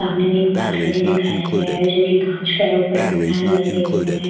सामने में एक बाल्कनी दिखाया गया है जो कि कांच का है ऊपर में फैन लगे हुए हैं।